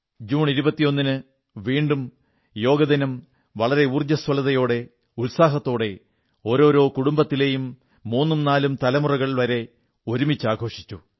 June 21 ന് വീണ്ടും ഒരിക്കൽ കൂടി യോഗാദിനം വളരെ ഉർജ്ജസ്വലതയോടെ ഉത്സാഹത്തോടെ ഓരോരോ കുടുംബത്തിലെയും മൂന്നും നാലും തലമുറകൾ വരെ ഒരുമിച്ച് ആഘോഷിച്ചു